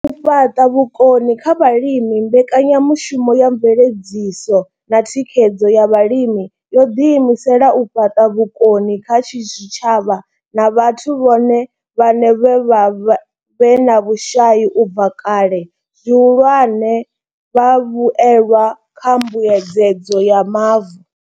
U fhaṱa vhukoni kha vhalimi mbekanyamushumo ya mveledziso na thikhedzo ya vhalimi yo ḓi imisela u fhaṱa vhukoni kha zwitshavha na vhathu vhone vhaṋe vhe vha vha vhe na vhushai u bva kale, zwihulwane, vhavhuelwa kha mbuedzedzo ya mavu.